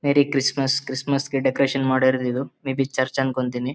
ಮೇರಿ Christmas Christmas ಗೆ decoration ಮಾಡಿರೋದು ಇದು ಮೇ ಬಿ ಚರ್ಚ್ ಅನ್ಕೋತೀನಿ.